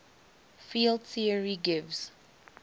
field theory gives